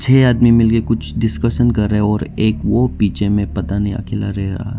ये आदमी मिलके कुछ डिस्कशन कर रहे है और एक वो पीछे में पता नहीं अकेला रह रहा।